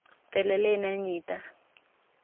Telelet ne nyitaat.